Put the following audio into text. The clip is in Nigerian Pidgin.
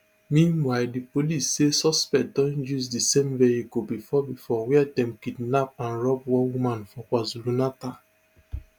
meanwhile di police say suspects don use di same vehicle bifor bifor wia dem kidnap and rob one woman for kwazulunatal